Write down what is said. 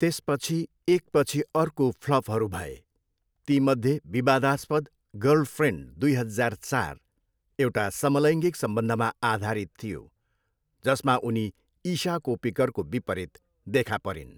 त्यसपछि एकपछि अर्को फ्लपहरू भए। तीमध्ये विवादास्पद गर्लफ्रेन्ड दुई हजार चार एउटा समलैङ्गिक सम्बन्धमा आधारित थियो, जसमा उनी इशा कोप्पिकरको विपरीत देखा परिन्।